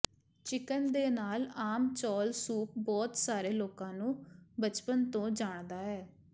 chicken ਦੇ ਨਾਲ ਆਮ ਚੌਲ ਸੂਪ ਬਹੁਤ ਸਾਰੇ ਲੋਕਾਂ ਨੂੰ ਬਚਪਨ ਤੋਂ ਜਾਣਦਾ ਹੈ